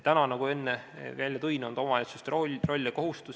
Nagu ma enne ütlesin, on see praegu omavalitsuse roll ja kohustus.